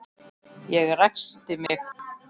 Ég ræskti mig.